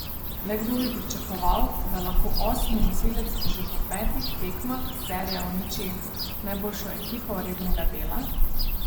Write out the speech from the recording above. Le kdo bi pričakoval, da lahko osmi nosilec že po petih tekmah serije uniči najboljšo ekipo rednega dela!